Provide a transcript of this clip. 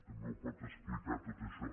també ho pot explicar tot això